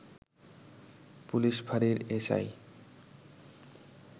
police ফাঁড়ির S I